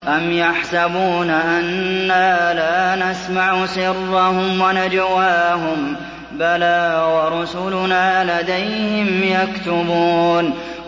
أَمْ يَحْسَبُونَ أَنَّا لَا نَسْمَعُ سِرَّهُمْ وَنَجْوَاهُم ۚ بَلَىٰ وَرُسُلُنَا لَدَيْهِمْ يَكْتُبُونَ